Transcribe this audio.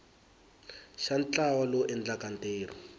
xa ntlawa lowu endlaka ntirho